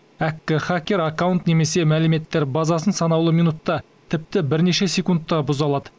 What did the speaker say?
әккі хакер аккаунт немесе мәліметтер базасын санаулы минутта тіпті бірнеше секундта бұза алады